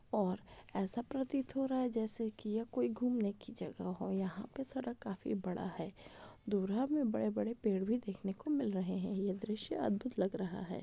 और ऐसा प्रतीत हो रहा है जैसे की ये कोई घुमने की जगह हो यहा पे सड़क काफी बड़ा है दुरे में बड़े बड़े पेड़ भी दिखने को मिल रहे है ये द्रश्य अधभूत लग रहा है।